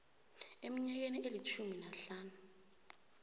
eminyakeni elitjhumi nahlanu